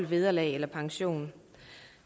vederlag eller pension